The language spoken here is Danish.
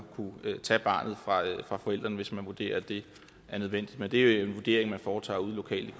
tage barnet fra forældrene hvis man vurderer at det er nødvendigt men det er jo en vurdering man foretager lokalt